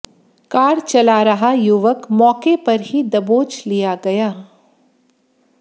car चला रहा युवक मौके पर ही दबोच लिया गया